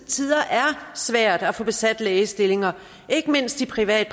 tider er svært at få besat lægestillinger ikke mindst i privat